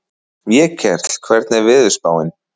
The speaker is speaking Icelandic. Vékell, hvernig er veðurspáin?